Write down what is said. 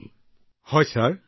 হয় নমস্কাৰ ছাৰ